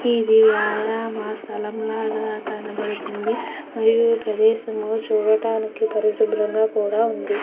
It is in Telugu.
ఈ సలాం లాగా కనిపిస్తుంది మరియు ఇది చూడడానికి చాల పరిశుభ్రం గ వుంది.